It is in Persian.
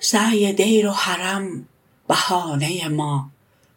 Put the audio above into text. سعی دیر و حرم بهانه ما